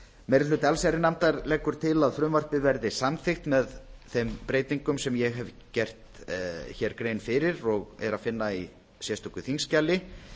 meiri hluti allsherjarnefndar leggur til að frumvarpið verði samþykkt með þeim breytingum sem ég hef gert hér grein fyrir og er að finna í sérstöku þingskjali